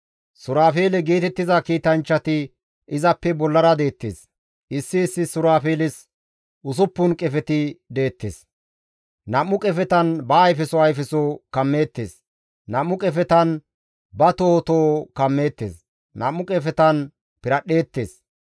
Suraafeele geetettiza kiitanchchati izappe bollara deettes; issi issi suraafeeles usuppun qefeti deettes; nam7u qefetan ba ayfeso ayfeso kammeettes; nam7u qefetan ba toho toho kammeettes; nam7u qefetan piradhdheettes.